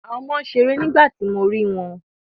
Àwọn ọmọ ń ṣeré nígbà tí mo rí wọn